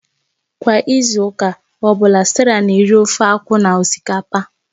Kwa izu ụka ọ bụla, Sarah na-eri ofe akwu na osikapa